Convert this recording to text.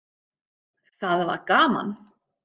Það var gaman.